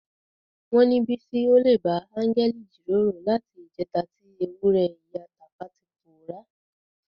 Wọ́n ní Bísí olè bá áńgẹ́lì jíròrò láti ìjẹta tí ewúrẹ́ ìyá Tàfá ti pòórá.